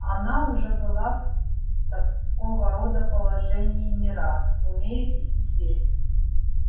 она уже была такого рода положении не раз умеет и теперь